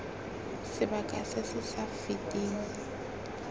sebaka se se sa feteng